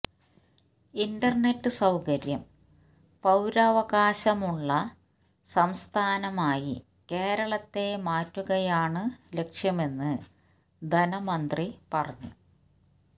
internet സൌകര്യം പൌരാവകാശമുള്ള സംസ്ഥാനമായി കേരളത്തെ മാറ്റുകയാണ് ലക്ഷ്യമെന്ന് ധനമന്ത്രി പറഞ്ഞു